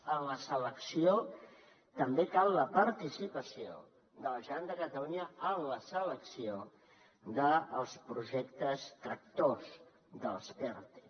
en la selecció també cal la participació de la generalitat de catalunya en la selecció dels projectes tractors dels perte